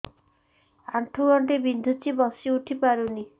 ଆଣ୍ଠୁ ଗଣ୍ଠି ବିନ୍ଧୁଛି ବସିଉଠି ପାରୁନି